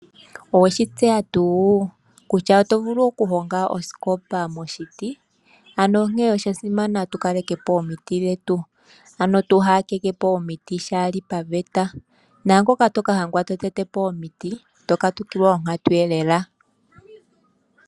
Oweshi tseya tuu kutya oto vulu okuhonga osikopa moshiti? Ano onkene oshasimana tukalekepo omiti dhetu , ano twaaha tetepo omiti shaali paveta. Naangoka toka adhika totetepo omiti , oto katukilwa onkatu.